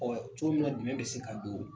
cogo min na dɛmɛn bɛ se ka don.